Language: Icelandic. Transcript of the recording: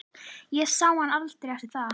Ég sá hann aldrei eftir það.